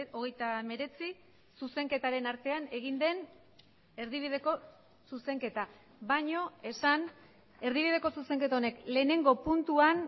hogeita hemeretzi zuzenketaren artean egin den erdibideko zuzenketa baino esan erdibideko zuzenketa honek lehenengo puntuan